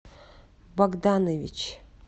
богданович